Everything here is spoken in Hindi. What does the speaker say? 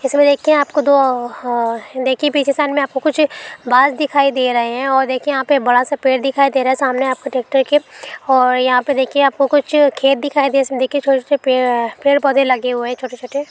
इसमें देखिए आपको दो ह ह अ देखे पीछे साइड में कुछ बास दिखाई दे रहे हैं और देखिए यहाँ पे बड़ा सा पेड़ देखाई दे रहा हैं सामने आपको ट्रैक्टर के और यहाँ पे देखिए आपको कुछ खेत दिखाइए देखिए छोटे -छोटे पेड़ अ पेड़- पौधें लगे हुए हैं छोटे-छोटे --